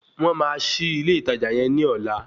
Wọ́n máa ṣí ilé ìtajà yẹn ní ọ̀la